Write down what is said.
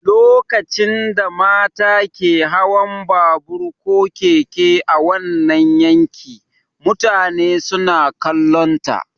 Lokacin da mata ke hawan babur ko keke a wannan yanki, mutane suna kallonta.